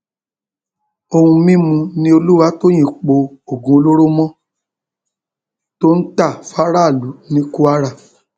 ohun mímu ni olùwátòyìn po oògùn olóró mọ tó ń ta fáráàlú ní kwara